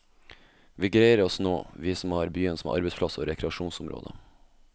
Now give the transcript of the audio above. Vi greier oss nå, vi som har byen som arbeidsplass og rekreasjonsområde.